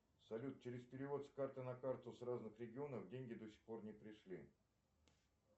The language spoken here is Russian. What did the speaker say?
салют через перевод с карты на карту с разных регионов деньги до сих пор не пришли